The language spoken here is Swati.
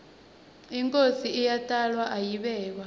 inkhosi iyatalwa ayibekwa